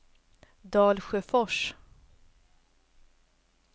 Dalsjöfors